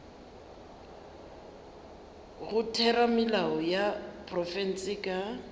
go theramelao ya profense ka